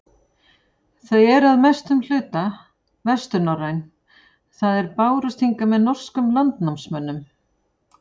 Þau eru að mestum hluta vesturnorræn, það er bárust hingað með norskum landnámsmönnum.